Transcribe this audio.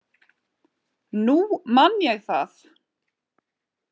Nú man ég það!